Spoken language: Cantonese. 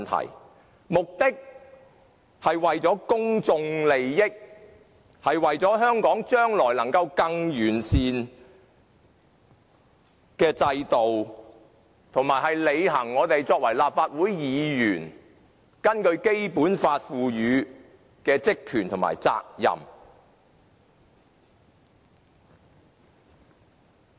其目的是為了公眾利益，是為了香港將來能夠有更完善的制度，也是我們作為立法會議員履行《基本法》賦予的職權和責任。